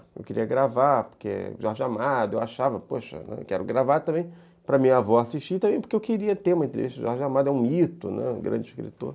Eu queria gravar, porque é Jorge Amado, eu achava, poxa, quero gravar também, para minha avó assistir também, porque eu queria ter uma entrevista com Jorge Amado, é um mito, né, um grande escritor.